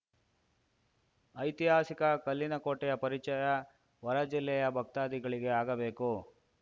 ಐತಿಹಾಸಿಕ ಕಲ್ಲಿನಕೋಟೆಯ ಪರಿಚಯ ಹೊರ ಜಿಲ್ಲೆಯ ಭಕ್ತಾಧಿಗಳಿಗೆ ಆಗಬೇಕು